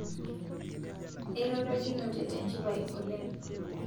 Erorokinete tenjipai oleng